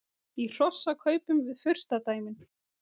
Í hrossakaupum við furstadæmin